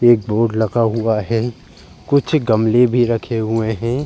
एक बोर्ड लगा हुआ है। कुछ गमले भी रखे हुए हैं।